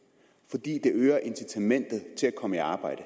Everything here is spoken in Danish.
fordi det øger incitamentet til at komme i arbejde